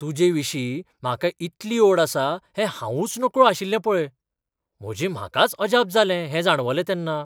तुजेविशीं म्हाका इतली ओड आसा हें हावूंच नकळो आशिल्लें पळय. म्हजे म्हाकाच अजाप जालें हें जाणवलें तेन्ना.